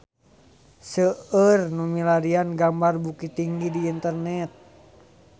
Seueur nu milarian gambar Bukittinggi di internet